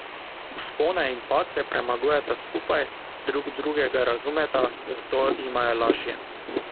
Vzpone in padce premagujeta skupaj, drug drugega razumeta, zato jima je lažje.